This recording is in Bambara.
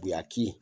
Buyaki